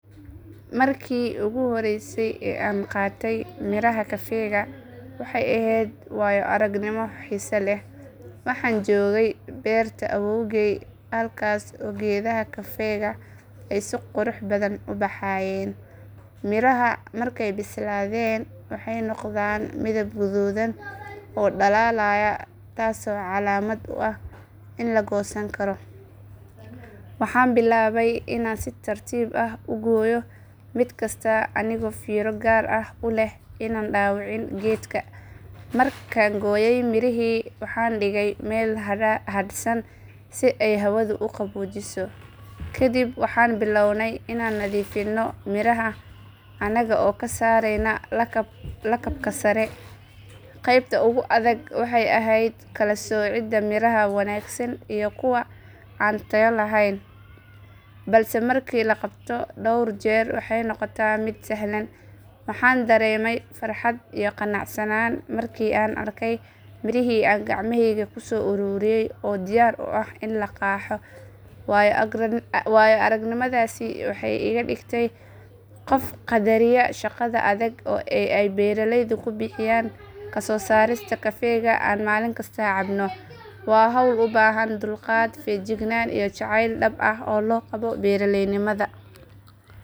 Markii ugu horreysay ee aan bilaabay cabista kafega waxaan ahaa qof aan aad u jeclayn dhadhanka qadhaadh laakiin markii aan si tartiib tartiib ah ugu baranayey waxaan arkay in uu leeyahay dhadhan gaar ah oo qof walba si u gaar ah ugu raaxeysto. Waxaan jeclahay inaan subax walba toos ugu kaco urta kafega oo cusub oo guri ka buuxda. Waxaan doorbidaa in aan isticmaalo miro cusub oo aan guriga ku shiido si uu u noqdo mid dhadhan fiican leh. Marka aan qaxwada diyaariyo waxaan fadhiistaa daqiiqado kooban si aan u nasto uguna raaxeysto diirimaanta koobka. Waxa kale oo ay ii tahay waqti aan maskaxda ku nadiifiyo kana fakaro maalinta hortayda taalla. Mararka qaar waxaan ku darsadaa hilib doofaar la shiilay ama rooti si uu u noqdo quraac dhamaystiran. Kafega miro cusub wuxuu leeyahay farqi weyn marka la barbar dhigo kafega la diyaariyey ee dukaamada laga iibsado. Waxa kale oo muhiim ah in biyaha la isticmaalo ay nadiif yihiin oo kulul yihiin si uu kafegu u noqdo mid dhadhan fiican leh. Waqtiga aan qaato kafega sidoo kale wuxuu i baray dulqaad iyo in aan si qoto dheer u dhadhamiyo waxyaabaha aan cabayo. Maalin kasta kafegu wuxuu i xasuusiyaa in ay jiraan waxyaabo yaryar oo nolosha farxad u keena haddii si sax ah loo isticmaalo loona qadariyo. Qaadashada kafega waxa ay ii noqotay dhaqan iyo waqti aan naftayda siiyo si aan u helo xasillooni.